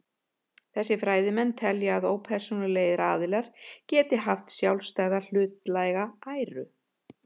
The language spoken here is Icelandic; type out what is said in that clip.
Þessir fræðimenn telja að ópersónulegir aðilar geti haft sjálfstæða hlutlæga æru.